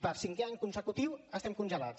per cinquè any consecutiu estem congelats